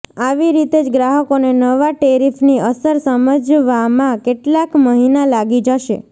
આવી રીતે જ ગ્રાહકોને નવા ટેરિફની અસર સમજવામાં કેટલાક મહિના લાગી જશે